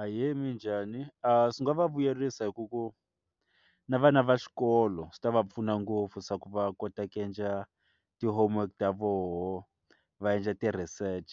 Ahee, minjhani? swi nga va vuyerisa hi ku ku na vana va xikolo swi ta va pfuna ngopfu swa ku va kota ku endla ti-homework ta voho va endla ti-research